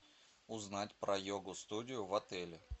узнать про йогу студию в отеле